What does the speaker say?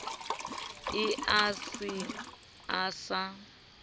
eo a se a sa